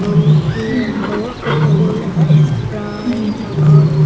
uni he aan hono cococola sprite agon.